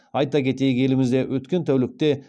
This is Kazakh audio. айта кетейік елімізде өткен тәулікте